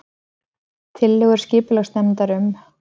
Tillögur skipulagsnefndar um